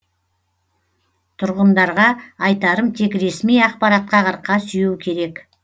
тұрғындарға айтарым тек ресми ақпаратқа арқа сүйеу керек